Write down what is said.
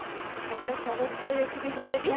একটা সহজ করে recipe বলে দিই